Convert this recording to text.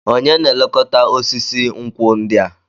Onye na-elekọta osisi nkwụ ndị a?